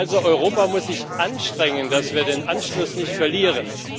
Also, Europa muss sich anstrengen, damit wir den Anschluss nicht verlieren.